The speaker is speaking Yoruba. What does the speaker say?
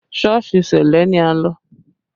Sọ́ọ̀sì ṣẹlẹ ni a lọ